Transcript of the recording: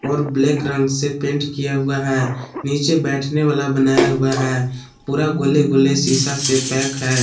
और ब्लैक रंग से पेंट किया हुआ है नीचे बैठने वाला बनाया हुआ है पूरा गोले गोले शीशा से पैक है।